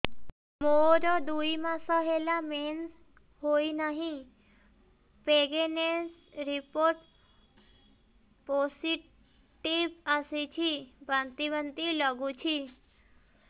ମୋର ଦୁଇ ମାସ ହେଲା ମେନ୍ସେସ ହୋଇନାହିଁ ପ୍ରେଗନେନସି ରିପୋର୍ଟ ପୋସିଟିଭ ଆସିଛି ବାନ୍ତି ବାନ୍ତି ଲଗୁଛି